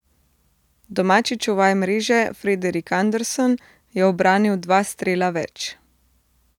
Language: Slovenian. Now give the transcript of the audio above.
Domači čuvaj mreže Frederik Andersen je ubranil dva strela več.